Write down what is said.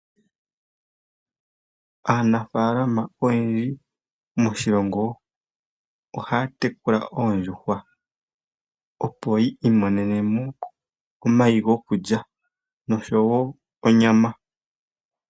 Aanafalma oyendji moshilongo ohaya tekula oondjuhwa opo yi imonenemo omayi gokulya nonyama.